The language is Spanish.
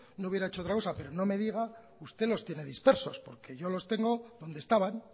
no hubiera hecho otra cosa pero no me diga que usted los tiene dispersos porque yo los tengo donde estaban